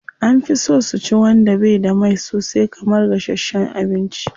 An fi so su ci wanda bai da mai sosai kamar gashasshen abinci.